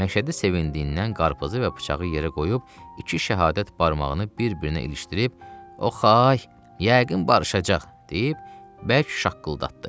Məşədi sevindiydindən qarpızı və bıçağı yerə qoyub, iki şəhadət barmağını bir-birinə ilişdirib, o xəy, yəqin barışacaq deyib, bərk şaqqıldatdı.